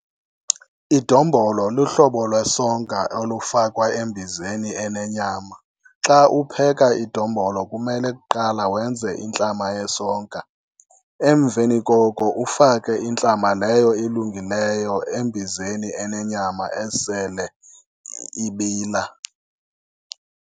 Idombolo luhlobo lwesonka olufakwa embizeni enenyama. Xa upheka idombolo kumele kuqala wenze intlama yesonka, emveni koko ufake intlama leyo ilungileyo embizeni enenyama esele ibila.